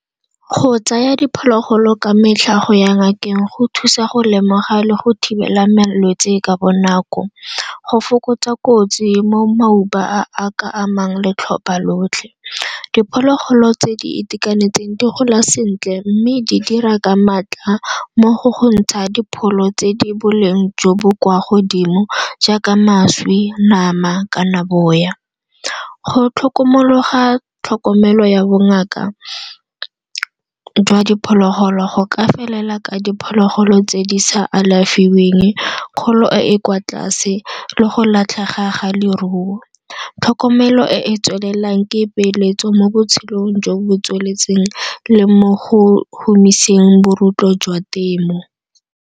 Go tsaya diphologolo ka metlha, go ya ngakeng go thusa go lemoga le go thibela malwetsi ka bonako. Go fokotsa kotsi mo a a ka amang le tlhopha lotlhe. Diphologolo tse di itekanetseng di gola sentle mme di dira ka maatla mmogo go ntsha dipholo tse di boleng jo bo kwa godimo jaaka mašwi, nama kana boya. Go tlhokomologa tlhokomelo ya bongaka jwa diphologolo go ka felela ka diphologolo tse di sa alafiweng, kgolo e e kwa tlase le go latlhega ga leruo. Tlhokomelo e e tswelelang ke e peeletso mo botshelong jo bo tsweletseng le mo go humiseng bo jwa temo.